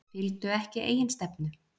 Fylgdu ekki eigin stefnu